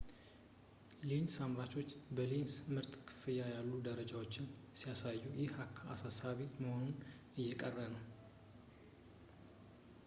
ሌንስ አምራቾች በሌንስ ምርት ከፍ ያሉ ደረጃዎችን ሲያሳኩ ይህ አሳሳቢ መሆኑ እየቀረ ነው